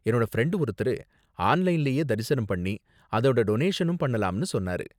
என்னோட ஃப்ரெண்டு ஒருத்தரு ஆன்லைன்லயே தரிசனம் பண்ணி அதோட டொனேஷனும் பண்ணலாம்னு சொன்னாரு.